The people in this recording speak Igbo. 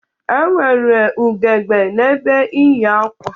E nwere ugegbe n'ebe iyi akwa.